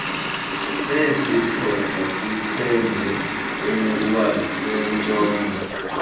sesixhosa kuthende iwasentshona